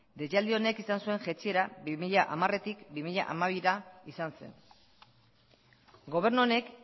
deialdi honek izan zuen jaitsiera bi mila hamartik bi mila hamabira izan zen gobernu honek